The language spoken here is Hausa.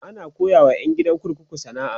ana koyawa ƴan gidan kurkuku sana'a